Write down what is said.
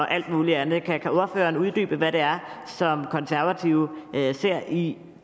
alt muligt andet kan ordføreren uddybe hvad det er som konservative ser i